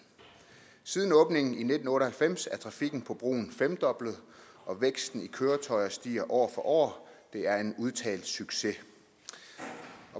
siden åbningen i nitten otte og halvfems er trafikken på broen femdoblet og væksten i køretøjer stiger år for år det er en udtalt succes